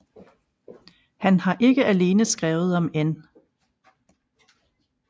Han har ikke alene skrevet om N